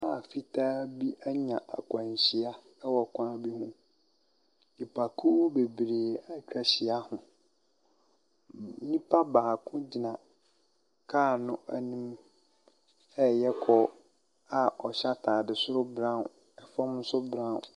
Kaa fitaa bi anya akwanhyia wɔ kwan bi ho. Nipakuo bebree atwa ahyia ho. N nipa baako gyina kaa no anim reyɛ call a ɔhyɛ atadeɛ soro brown, fam nso brown.